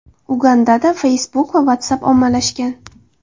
Ugandada Facebook va WhatsApp ommalashgan.